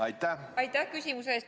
Aitäh küsimuse eest!